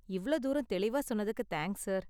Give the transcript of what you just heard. இவ்ளோ தூரம் தெளிவா சொன்னதுக்கு தேங்க்ஸ் சார்.